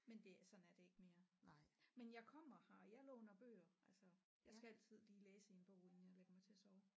Men det sådan er det ikke mere men jeg kommer her jeg låner bøger altså jeg skal altid lige læse i en bog inden jeg ligger mig til at sove